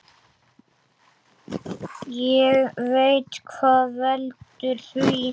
Ég veit hvað veldur því.